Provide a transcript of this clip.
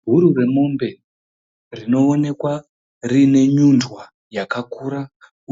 Bhuru remombe rinoonekwa rine nyundwa yakakura